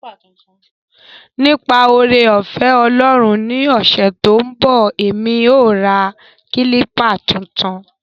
Nipa oore-ofe Olorun ni ose to n bo, emi o ra kilpa tuntun.